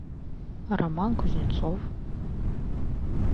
роман кузнецов